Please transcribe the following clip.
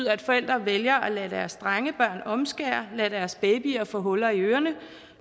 at forældre vælger at lade deres drengebørn omskære lade deres babyer få huller i ørerne